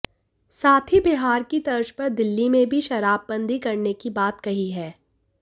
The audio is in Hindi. साथ ही बिहार की तर्ज पर दिल्ली में भी शराबबंदी करने की बात कही है